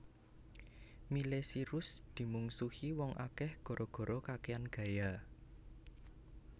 Miley Cyrus dimungsuhi wong akeh gara gara kakean gaya